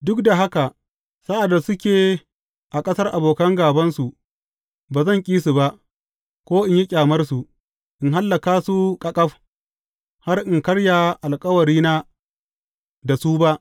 Duk da haka, sa’ad da suke a ƙasar abokan gābansu, ba zan ƙi su, ko in yi ƙyamarsu, in hallaka su ƙaƙaf, har in karya alkawarina da su ba.